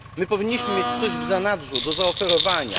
My powinniśmy mieć coś w zanadrzu do zaoferowania.